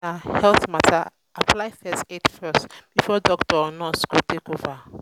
if na health matter apply first aid first before doctor or nurse go take over